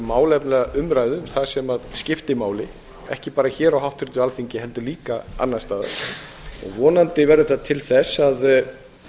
málefnalega umræðu um það sem skiptir máli ekki bara hér á háttvirtu alþingi heldur líka annars staðar vonandi verður þetta til þess að